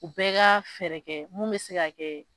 O bɛɛ ka fɛɛrɛ kɛ mun bɛ se ka kɛ.